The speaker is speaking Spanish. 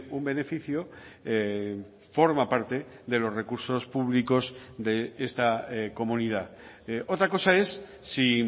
un beneficio forma parte de los recursos públicos de esta comunidad otra cosa es si